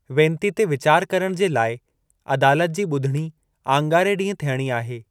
वेनती ते वीचारु करण जे लाइ अदालत जी ॿुधणी आङारे ॾींहुं थियणी आहे।